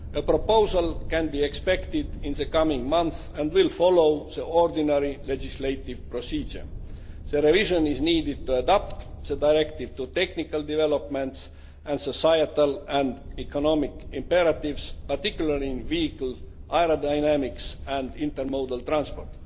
A proposal can be expected in the coming months and will follow the ordinary legislative procedure. The revision is needed to adapt the directive to technical developments and societal and economic imperatives, particularly in vehicle aerodynamics and intermodal transport.